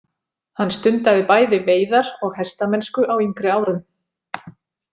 Hann stundaði bæði veiðar og hestamennsku á yngri árum.